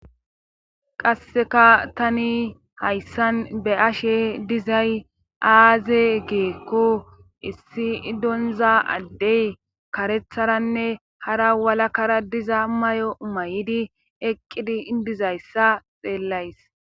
qasseka tani hayssan be ashe dizay aaze geekko issi idonza addey karetharanne hara walakara diza may7o may7idi eqqidi indizayssa xeellays